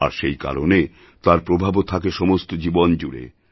আর সেই কারণে তাঁর প্রভাবও থাকে সমস্ত জীবন জুড়ে